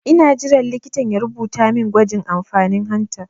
Ina jiran likitan ya rubuta min gwajin amfanin hanta